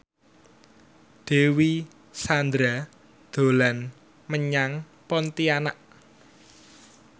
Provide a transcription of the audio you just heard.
Dewi Sandra dolan menyang Pontianak